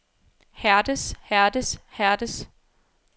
hærdes hærdes hærdes